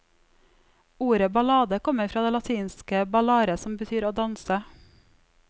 Ordet ballade kommer fra det latinske ballare, som betyr å danse.